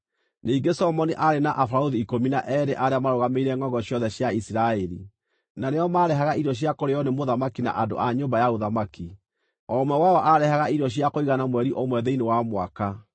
Ningĩ Solomoni aarĩ na abarũthi ikũmi na eerĩ arĩa marũgamĩrĩire ngʼongo ciothe cia Isiraeli, na nĩo maarehaga irio cia kũrĩĩo nĩ mũthamaki na andũ a nyũmba ya ũthamaki. O ũmwe wao aarehaga irio cia kũigana mweri ũmwe thĩinĩ wa mwaka.